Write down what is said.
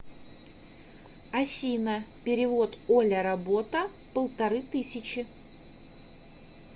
афина перевод оля работа полторы тысячи